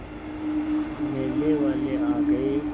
मेले वाले आ गए